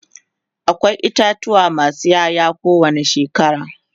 akwai itatuwa masu Yaya ko wani shekara